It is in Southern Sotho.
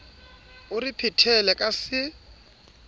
o re phethele ka se